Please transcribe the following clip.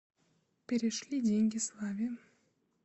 перешли деньги славе